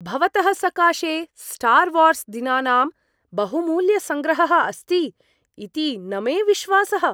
भवतः सकाशे Star Wars दिनानाम् बहुमूल्यसङ्ग्रहः अस्ति इति न मे विश्वासः।